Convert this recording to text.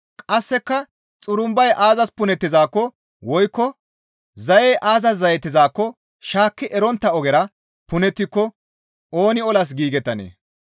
Qasseka xurumbay aazas punettizaakko woykko zayey aazas zayettizaakko shaakki erettontta ogera punettiko ooni olas giigettanee?